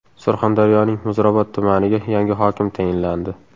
Surxondaryoning Muzrabot tumaniga yangi hokim tayinlandi.